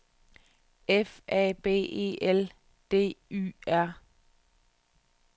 F A B E L D Y R